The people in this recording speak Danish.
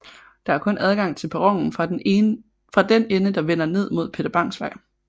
Der er kun adgang til perronen fra den ende der vender ned mod Peter Bangs Vej